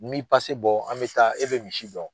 N mi bɔ an bɛ taa e bɛ misi dɔn.